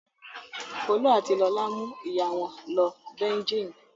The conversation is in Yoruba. Folú àti Lọlá mú ìyá wọn lọ Beijing.